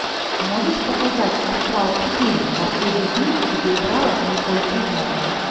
можешь показать астрал четыре последний ключ где играла николь кидман